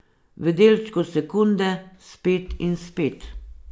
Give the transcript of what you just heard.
V delčku sekunde, spet in spet.